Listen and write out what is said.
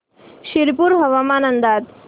शिरपूर हवामान अंदाज